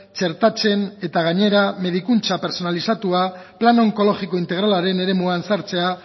txertatzen eta gainera medikuntza pertsonalizatua plan onkologiko integralaren eremuan sartzea